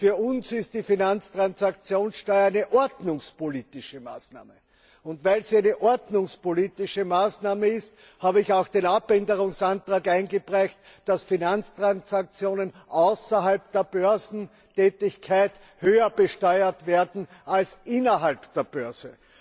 Für uns ist die Finanztransaktionssteuer eine ordnungspolitische Maßnahme, und weil sie eine ordnungspolitische Maßnahme ist, habe ich auch den Änderungsantrag eingereicht, dass Finanztransaktionen außerhalb der Börsentätigkeit höher besteuert werden als innerhalb der Börse.